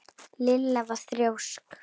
Lilla var þrjósk.